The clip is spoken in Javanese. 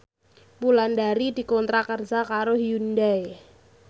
Wulandari dikontrak kerja karo Hyundai